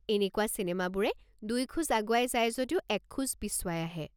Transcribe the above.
এনেকুৱা চিনেমাবোৰে দুই খোজ আগুৱাই যায় যদিও এক খোজ পিছুৱাই আহে।